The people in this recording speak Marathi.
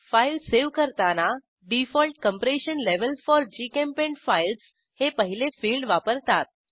फाईल सेव्ह करताना डिफॉल्ट कंप्रेशन लेव्हल फोर जीचेम्पेंट फाइल्स हे पहिले फिल्ड वापरतात